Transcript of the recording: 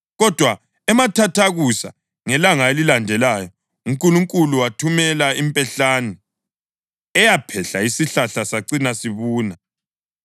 Kodwa emathathakusa ngelanga elilandelayo uNkulunkulu wathumela impehlane, eyaphehla isihlahla sacina sibuna.